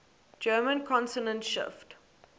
german consonant shift